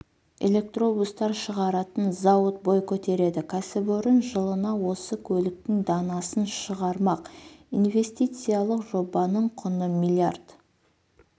электробустар шығаратын зауыт бой көтереді кәсіпорын жылына осы көліктің данасын шығармақ инвестициялық жобаның құны млрд